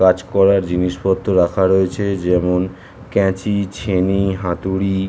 কাজ করার জিনিসপত্র রাখা রয়েছে যেমন ক্যাচি ছেনি হাতুড়ি।